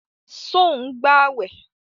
Sọ ń gbàwẹ̀?